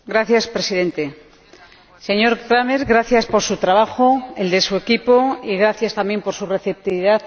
Señor Presidente, señor Cramer, gracias por su trabajo y el de su equipo, y gracias también por su receptividad.